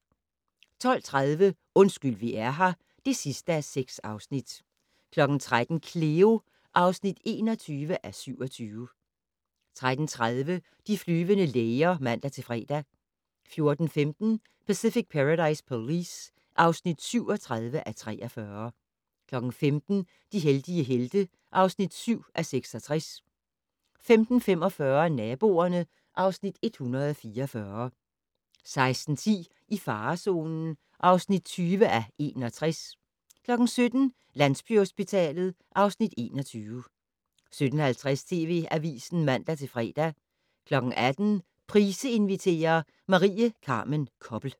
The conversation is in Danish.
12:30: Undskyld vi er her (6:6) 13:00: Cleo (21:27) 13:30: De flyvende læger (man-fre) 14:15: Pacific Paradise Police (37:43) 15:00: De heldige helte (7:66) 15:45: Naboerne (Afs. 144) 16:10: I farezonen (20:61) 17:00: Landsbyhospitalet (Afs. 21) 17:50: TV Avisen (man-fre) 18:00: Price inviterer - Marie Carmen Koppel